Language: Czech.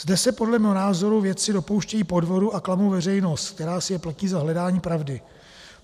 Zde se podle mého názoru vědci dopouštějí podvodu a klamou veřejnost, která si je platí za hledání pravdy.